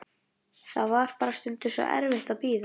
Það var bara stundum svo erfitt að bíða.